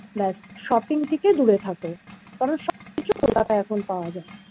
ব্যস shopping থেকে দূরে থাকো কারণ সবকিছু kolkata আয় এখন পাওয়া যায়